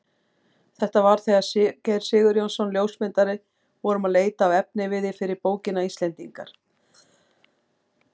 Þetta var þegar við Sigurgeir Sigurjónsson ljósmyndari vorum að leita að efniviði fyrir bókina Íslendingar.